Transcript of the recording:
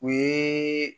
O ye